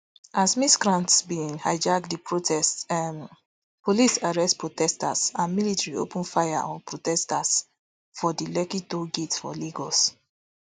as miscreants bin hijack di protests um police arrest protesters and military open fire on protesters for di lekki toll gate for lagos